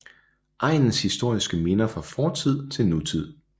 Egnens historiske minder fra fortid til nutid